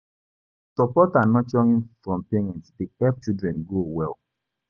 Support and nurturing from parents dey help children grow well.